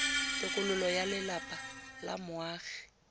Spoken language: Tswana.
tokololo ya lelapa la moagi